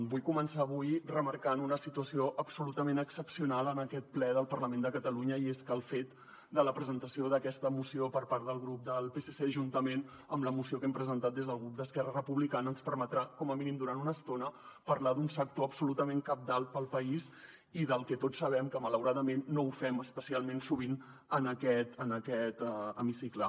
vull començar avui remarcant una situació absolutament excepcional en aquest ple del parlament de catalunya i és que el fet de la presentació d’aquesta moció per part del grup del psc juntament amb la moció que hem presentat des del grup d’esquerra republicana ens permetrà com a mínim durant una estona parlar d’un sector absolutament cabdal per al país i del que tots sabem que malauradament no ho fem especialment sovint en aquest hemicicle